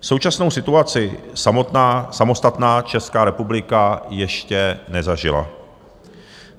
Současnou situaci samostatná Česká republika ještě nezažila.